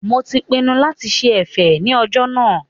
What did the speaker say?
Mo ti pinnu lati ṣe ẹ̀fẹ̀ ní ọjọ́ náà